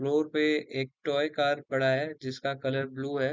Floor पे एक toy car पड़ा है जिसका कलर ब्लू है।